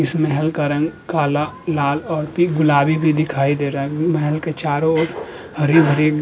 इसमे हल्का रंग काला लाल और पी गुलाबी भी दिखाई दे रहा है। महल के चारों ओर हरी-भरी --